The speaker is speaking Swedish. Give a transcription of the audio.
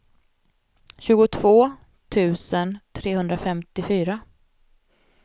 tjugotvå tusen trehundrafemtiofyra